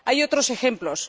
Hay otros ejemplos.